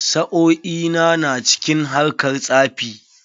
Sa'o'i na na cikin harkar tsafi.